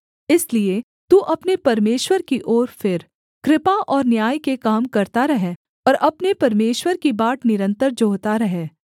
इसलिए तू अपने परमेश्वर की ओर फिर कृपा और न्याय के काम करता रह और अपने परमेश्वर की बाट निरन्तर जोहता रह